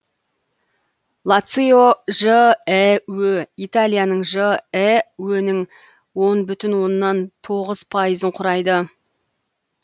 лацио жіө италияның жіө нің он бүтін оннан тоғыз пайызын құрайды